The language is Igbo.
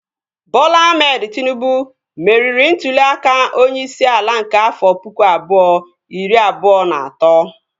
Bọla Ahmed Tịnubụ meriri ntụli aka onyeisi ala nke afọ pụkụ abụọ, iri abụọ na atọ